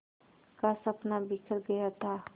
का सपना बिखर गया था